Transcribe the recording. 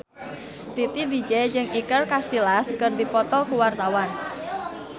Titi DJ jeung Iker Casillas keur dipoto ku wartawan